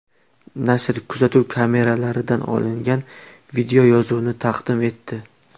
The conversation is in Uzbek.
Nashr kuzatuv kameralaridan olingan videoyozuvni taqdim etdi.